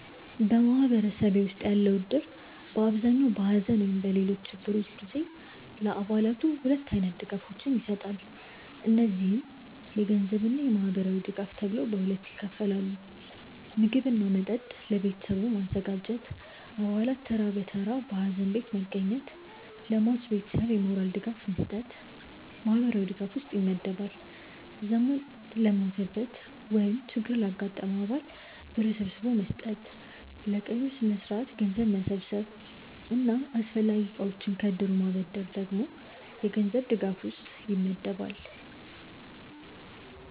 በማህበረሰቤ ውስጥ ያለው እድር በአብዛኛው በሐዘን ወይም በሌሎች ችግሮች ጊዜ ለአባላቱ ሁለት አይነት ድጋፎችን ይሰጣል። እነዚህም የገንዘብ እና ማህበራዊ ድጋፍ ተብለው ይከፈላሉ። ምግብ እና መጠጥ ለቤተሰቡ ማዘጋጀት፣ አባላት ተራ በተራ ሀዘን ቤት መገኘት፣ ለሟች ቤተሰብ የሞራል ድጋፍ መስጠት ማህበራዊ ድጋፍ ውስጥ ይመደባል። ዘመድ ለሞተበት ወይም ችግር ላጋጠመው አባል ብር ሰብስቦ መስጠት፣ ለቀብር ስነስርዓት ገንዘብ መሰብሰብ እና አስፈላጊ እቃዎችን ከእድሩ ማበደር ደግሞ የገንዘብ ድጋፍ ውስጥ ይመደባል።